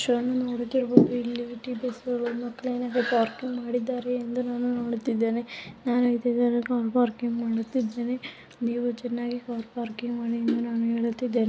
ವಿಷಯವನ್ನು ನೋಡುತಿರಬಹುದು ಇಲ್ಲಿ ಮಕ್ಕಳು ಏನಾದರು ಪಾರ್ಕಿಂಗ್ ಮಾಡಿದ್ದಾರೆ ಎಂದು ನಾನು ನೋಡುತ್ತಿದ್ದೇನೆ ನಾನು ಇದ್ದಿದ್ದರೆ ಕಾರು ಪಾರ್ಕಿಂಗ್ ಮಾಡುತಿದ್ದೇನೆ ನೀವು ಚನ್ನಾಗಿ ಕಾರ್ ಪಾರ್ಕಿಂಗ್ ಮಾಡಿ ಅಂತ ನಾನು ಹೇಳುತಿದ್ದಾನೆ.